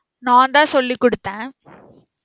நான் தான் சொல்லி குடுத்தேன்